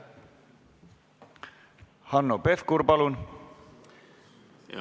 Hanno Pevkur, palun!